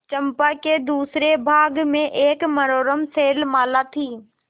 चंपा के दूसरे भाग में एक मनोरम शैलमाला थी